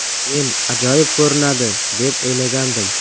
Men ajoyib ko‘rinadi, deb o‘ylagandim”.